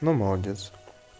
ну молодец